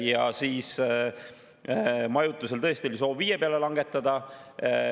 Ja majutuse puhul oli tõesti soov 5% peale langetada.